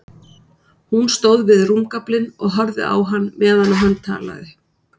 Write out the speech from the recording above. Hún stóð við rúmgaflinn og horfði á hann meðan hann talaði.